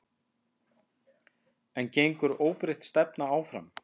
En gengur óbreytt stefna áfram?